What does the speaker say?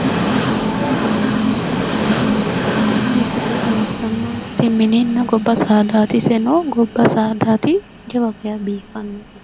tini misile xawissannonkehu mininna gobba saadaati iseno gobba saadaati jawa geya biiffanno.